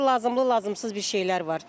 Orda lazımlı-lazımsız bir şeylər var.